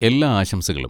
എല്ലാ ആശംസകളും!